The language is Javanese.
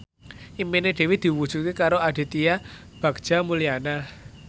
impine Dewi diwujudke karo Aditya Bagja Mulyana